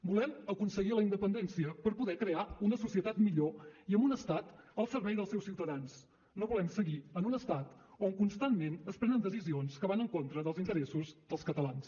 volem aconseguir la independència per poder crear una societat millor i amb un estat al servei dels seus ciutadans no volem seguir en un estat on constantment es prenen decisions que van en contra dels interessos dels catalans